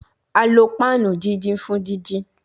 A lo panu didin fun didin